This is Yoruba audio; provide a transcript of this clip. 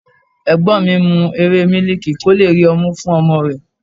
Ẹ̀gbọ́n mi ń mu ewé miliki kó lè rí ọmú fún ọmọ rẹ̀.